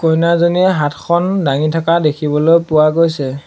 কইনাজনীয়ে হাতখন দাঙি থকা দেখিবলৈ পোৱা গৈছে।